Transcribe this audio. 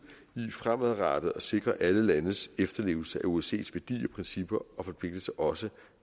i fremadrettet at sikre alle landes efterlevelse af osces værdier principper og forpligtelser også